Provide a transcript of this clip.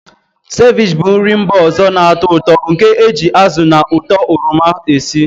Sevich bụ nri mba ọzọ na-atọ ụtọ nke e ji azụ na ụtọ oroma esi.